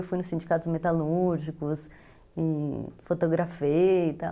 Eu fui nos sindicatos metalúrgicos e fotografei e tal.